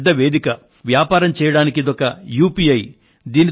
వ్యాపారం చేయడానికి ఒక యుపిఐ చాలా ఉపయోగకరమైన వేదిక